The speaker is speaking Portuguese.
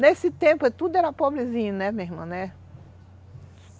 Nesse tempo tudo era pobrezinho, né, minha irmã? né?